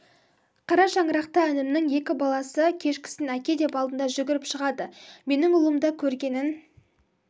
қара шаңырақта інімнің екі баласы кешкісін әке деп алдынан жүгіріп шығады менің ұлым да көргенін